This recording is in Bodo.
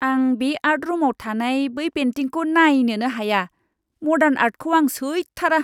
आं बे आर्ट रुमाव थानाय बै पेन्टिंखौ नायनोनो हाया, मडार्न आर्टखौ आं सैथारा।